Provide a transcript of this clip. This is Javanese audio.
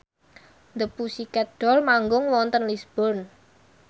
The Pussycat Dolls manggung wonten Lisburn